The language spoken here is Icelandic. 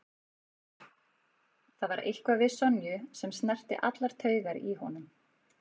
Það var eitthvað við Sonju sem snerti allar taugar í honum.